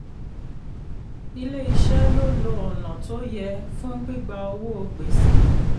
ilé iṣé lo lo ọ̀nà tó yẹ fún gbígba owó gbèsè.